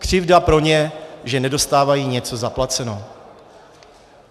Křivda pro ně, že nedostávají něco zaplaceno.